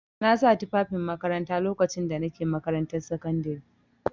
Na sa tufafin makaranta lokacin da na ke makarantar sakandare.